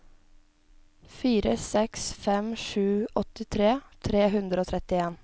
fire seks fem sju åttitre tre hundre og trettien